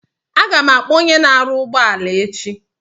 Aga m akpọ onye na aru ugbo ala echi